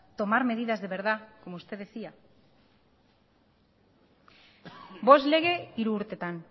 tomar medidas de verdad como usted decía bost lege hiru urtetan